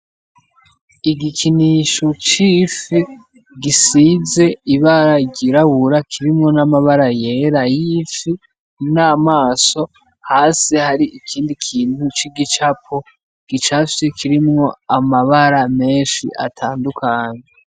Igikinisho c'ifi gisize ibara ryirabura kirimwo n'amabara yera y'ifi n'amaso, hasi hariho ikintu c'igicapo gicafye, kirimwo amabara menshi atandukanye.